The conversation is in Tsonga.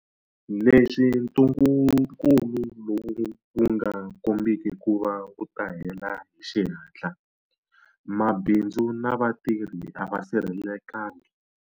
Leswi ntungukulu lowu wu nga kombiki ku va wu ta hela hi xihatla, mabindzu na vatirhi a va sirhelelekangi.